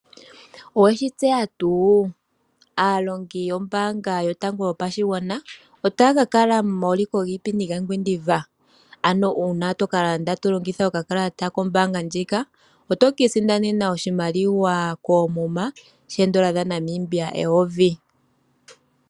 Oweshitseya tuu aalongi yombaanga yotango yopashigwana otaya ka kala momauliko giipindi gaOngwediva, ano una toka landa tolongitha okakalata kombanga ndjika oto kiisindanena oshimaliwa koomuma shoodola dhaNamibia eyovi.